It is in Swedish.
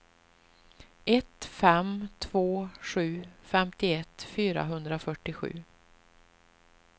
ett fem två sju femtioett fyrahundrafyrtiosju